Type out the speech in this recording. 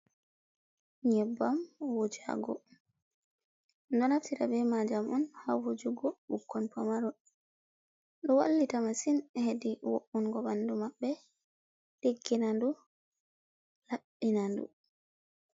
Nyebbam wujago. ɗum ɗo naftira be majam on hawujugo bukkon famaron. Ɗo wallita masin hedi wo’ungo ɓandu maɓɓe, diggina ndu laɓɓina ndu.